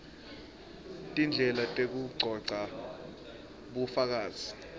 tindlela tekugcogca bufakazi